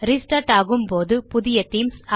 restart ஆகும் போதுபுதிய themes